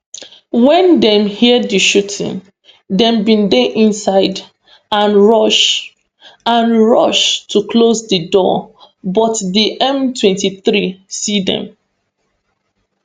wen dem hear di shooting dem bin dey inside and rush and rush to close di door but di mtwenty-three see dem